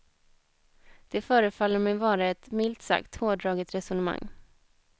Det förefaller mig vara ett, milt sagt, hårdraget resonemang.